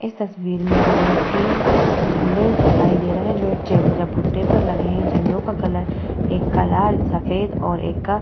इस तस्वीर में हमें तीन झंडे दिखाई दे रहा है जो एक चे चबूतरे पे लगे है झंडे का कलर एक का लाल सफेद और एक का --